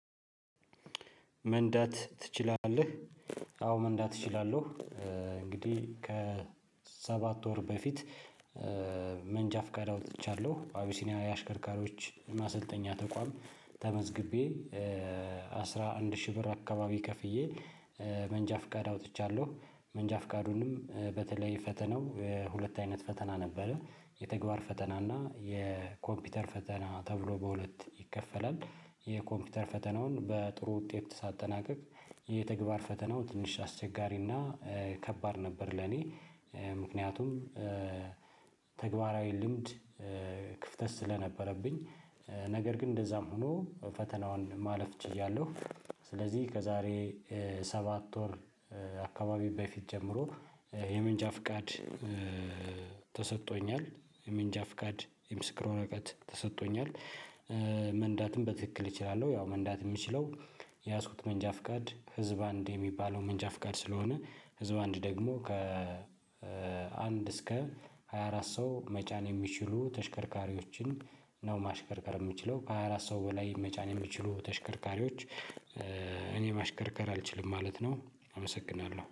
መንዳት ትችላለህ? አዎ መንዳት እችላለሁ። እንግዲህ ከሰባት ወር በፊት መንጃ ፍቃዳው አውጥቻለሁ ባቢሲኒያ የአሽከርካሪዎች ማሰልጠኛ ተቋም ተመዝግቤ አስራ አንድ ሺህ ብር አካባቢ ከፍዬ መንጃ ፍቃድ አውጥቻለሁ። መንጃ ፍቃዱንም በተለይ ፈተናው ሁለት አይነት ፈተና ነበረ የተግባር ፈተና እና የኮምፒውተር ፈተና ተብሎ በሁለት ይከፈላል። የኮምፒውተር ፈተናውን በጥሩ ውጤት ሳጠናቀቅ የተግባር ፈተናው ትንሽ አስቸጋሪና ከባድ ነበር ለኔ ምክንያቱም ተግባራዊ ልምድ ክፍተት ስለነበረብኝ ነገር ግን እንደዛም ሆኖ ፈተናውን ማለፍ ችያለሁ። ስለዚህ ከዛሬ ሰባት ወር አካባቢ በፊት ጀምሮ የመንጃ ፍቃድ ተሰጥቶኛል። የመንጃ የምስክር እውቀት ተሰጥቶኛል። መንዳትም በትክክል እችላለሁ ያው መንዳት የምችለው የያዙት የያዝኩት መንጃ ፍቃድ ህዝብ አንድ የሚባለው መንጃ ፍቃድ ስለሆነ። ህዝብ አንድ ደግሞ ከ አንድ እስከ ሃያ አራት ሰው መጫን የሚችሉ ተሽከርካሪዎችን ነው። ማሽከርከር የምችለው ከሃያ አራት አራት ሰው በላይ መጫን የሚችሉ ተሽከርካሪዎች እኔ ማሽከርከር አልችልም ማለት ነው። አመሰግናለሁ